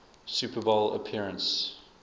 super bowl appearance